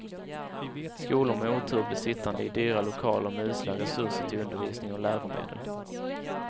Skolor med otur blev sittande i dyra lokaler med usla resurser till undervisning och läromedel.